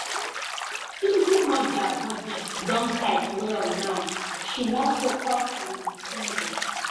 single mother budget don tight well now she won focus on her spending.